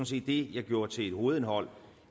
set det jeg gjorde til hovedindholdet